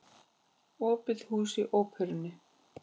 Opið hús í Óperunni